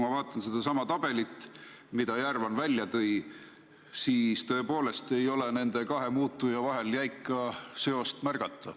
Kui vaatan sedasama tabelit, mille Järvan välja tõi, siis tõepoolest ei ole nende kahe muutuja vahel jäika seost märgata.